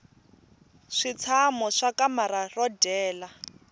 switshamo swa kamara ro dyela